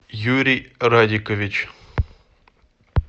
юрий радикович